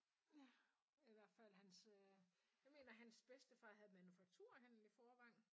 Ja i hvert fald hans øh jeg mener hans bedstefar havde en manufakturhandel i Vorrevangen ja